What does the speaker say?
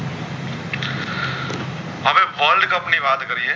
હવે world cup ની વાત કરીયે